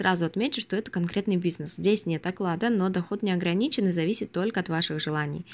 сразу отмечу что это конкретный бизнес здесь нет оклада но доход не ограничен и зависит только от ваших желаний